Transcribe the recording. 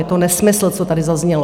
Je to nesmysl, co tady zaznělo.